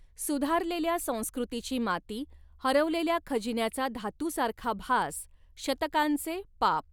सुधारलेल्या संस्कृतीची माती, हरवलेल्या खजिन्याचा धातु सारखा भास, शतकांचे पाप.